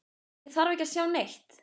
Ég þarf ekki að sjá neitt.